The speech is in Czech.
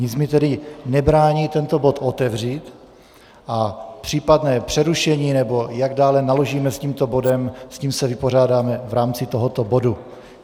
Nic mi tedy nebrání tento bod otevřít a případné přerušení, nebo jak dále naložíme s tímto bodem, s tím se vypořádáme v rámci tohoto bodu.